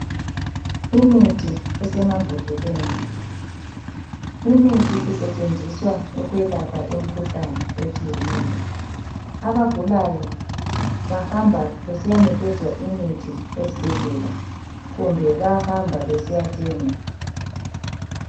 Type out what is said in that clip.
Imithi esemambodleleni. Imithi isetshenziswa ukwelapha imikhuhlane etshiyeneyo. Abagulayo bahamba besiyanikezwa imithi esibhedlela kumbe bayahamba besiyathenga.